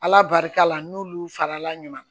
Ala barika la n'olu farala ɲɔgɔn kan